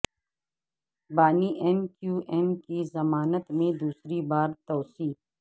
بانی M Q M کی ضمانت میں دوسری بار توسیع